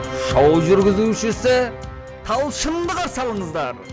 шоу жүргізушісі талшынды қарсы алыңыздар